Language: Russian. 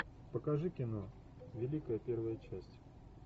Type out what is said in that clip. покажи кино великая первая часть